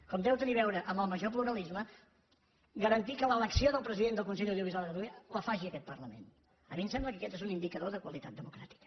com deu tenir a veure amb el major pluralisme garantir que l’elecció del president del consell de l’audiovisual de catalunya la faci aquest parlament a mi em sembla que aquest és un indicador de qualitat democràtica